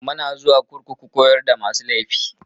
Muna zuwa kurkuku koyar da masu laifi.